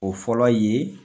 O fɔlɔ ye